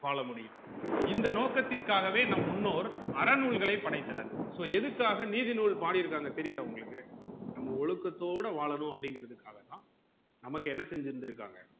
வாழ முடியும் இந்த நோக்கத்திற்காகவே நம் முன்னோர் அறநூல்களை படைத்தனர் so எதுக்காக நீதி நூல் பாடிருக்காங்க தெரிதா உங்களுக்கு நம்ம ஒழுக்கத்தோட வாழனும் அப்டிங்கறதுக்காகத்தா நமக்கு என்ன செஞ்சிருக்காங்க